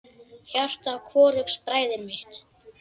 Hjarta hvorugs bræðir hitt.